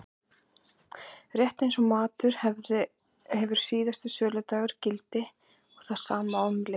Rétt eins og matur hefur síðasta söludag gildir það sama um lyf.